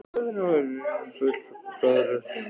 Þetta er nú kannski full hroðalegt hjá mér, tautaði Össur